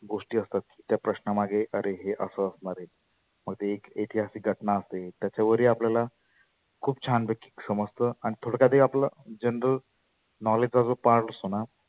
गोष्टी असतात ते पण त्या प्रश्नामागे आरे हे असं असणार आहे. मग ती एक ऐतिहासीक घटना असेल त्याच्यावर ही आपल्याला खुप छान समजतं आणि थोड काहितरी आपलं general knowledge चा जो part असतोना.